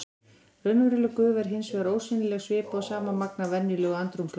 Raunveruleg gufa er hins vegar ósýnileg svipað og sama magn af venjulegu andrúmslofti.